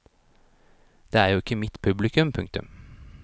Det er jo ikke mitt publikum. punktum